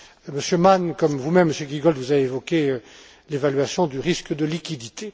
Monsieur Mann, comme vous même Monsieur Giegold, vous avez évoqué l'évaluation du risque de liquidité.